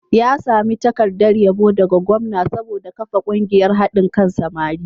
Ya sami takardar yabo daga gwamna saboda kafa ƙungiyar haɗin kan samari.